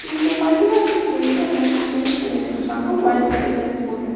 இந்த பள்ளிவாசலுக்கு வெளிய ரெண்டு ஜென்ஸ் நின்னுட்ருக்காங்க ஒயிட் கலர் டிரஸ் போட்டுட்டு.